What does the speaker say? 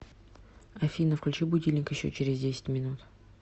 афина включи будильник еще через десять минут